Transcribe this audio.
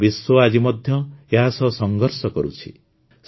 ସମଗ୍ର ବିଶ୍ୱ ଆଜି ମଧ୍ୟ ଏହା ସହ ସଂଘର୍ଷ କରୁଛି